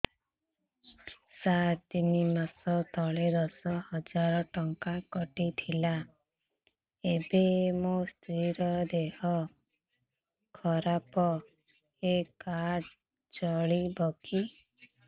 ସାର ତିନି ମାସ ତଳେ ଦଶ ହଜାର ଟଙ୍କା କଟି ଥିଲା ଏବେ ମୋ ସ୍ତ୍ରୀ ର ଦିହ ଖରାପ ଏ କାର୍ଡ ଚଳିବକି